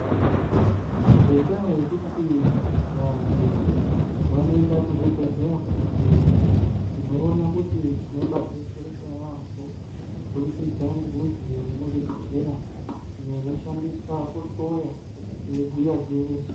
Ngendaa yekuti vantu vanoenda kuzvibhedhlera kunohloyiwa tinoona kuti tinobatsirika yambo kubudikidza nemidziyo iri muzvibhedhlera iyo ino shandiswa kuhloya ichibhuya gwinyiso.